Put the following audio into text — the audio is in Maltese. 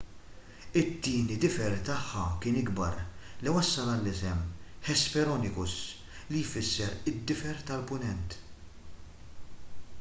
it-tieni difer tagħha kien ikbar li wassal għall-isem hesperonychus li jfisser difer tal-punent